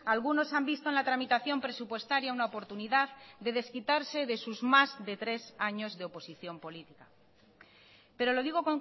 algunos han visto en la tramitación presupuestaria una oportunidad de desquitarse de sus más de tres años de oposición política pero lo digo